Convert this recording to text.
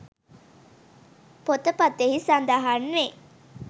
පොත පතෙහි සඳහන් වේ